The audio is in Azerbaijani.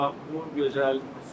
Hər yer çox gözəldir.